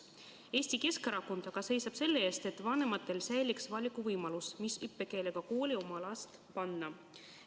Eesti Keskerakond seisab aga selle eest, et vanematel säiliks valikuvõimalus, millise õppekeelega kooli oma laps panna.